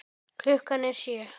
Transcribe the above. Klukkan er sjö!